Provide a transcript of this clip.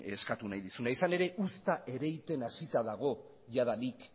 eskatu nahi dizuna izan ere uzta ereiten hasita dago jadanik